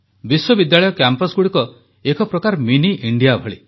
ବିଶ୍ୱବିଦ୍ୟାଳୟ କ୍ୟାମ୍ପସଗୁଡ଼ିକ ଏକପ୍ରକାର ମିନି ଇଣ୍ଡିଆ ଭଳି